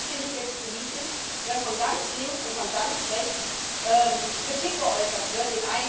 Interessant finde ich jetzt politisch, dass von ganz links und von ganz rechts Kritik geäußert wird.